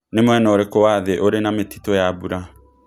nĩ mũena ũrikũ wa thĩ ũrĩ na mĩtitũ ya mbũra